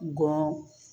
Gɔ